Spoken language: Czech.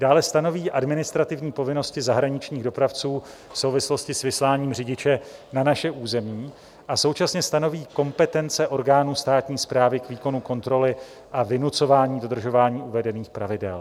Dále stanoví administrativní povinnosti zahraničních dopravců v souvislosti s vysláním řidiče na naše území a současně stanoví kompetence orgánů státní správy k výkonu kontroly a vynucování dodržování uvedených pravidel.